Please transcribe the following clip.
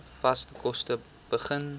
vaste kos begin